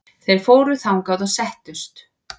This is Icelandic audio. Þeir fóru þangað og settust.